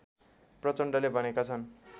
प्रचण्डले भनेका छन्